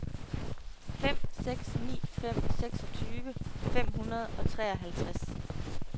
fem seks ni fem seksogtyve fem hundrede og treoghalvtreds